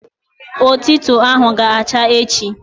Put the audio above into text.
Otito ahụ ga-acha echi